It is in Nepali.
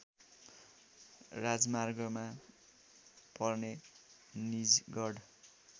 राजमार्गमा पर्ने निजगढ